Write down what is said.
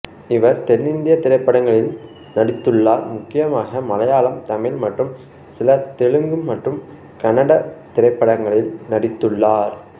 இவர் தென்னிந்திய திரைப்படங்களில் நடித்துள்ளார் முக்கியமாக மலையாளம் தமிழ் மற்றும் சில தெலுங்கு மற்றும் கன்னட திரைப்படங்களில் நடித்துள்ளார்